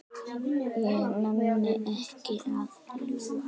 Ég nenni ekki að ljúga.